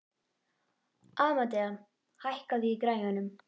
Amadea, hækkaðu í græjunum.